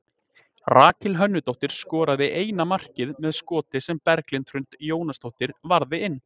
Rakel Hönnudóttir skoraði eina markið með skoti sem Berglind Hrund Jónasdóttir varði inn.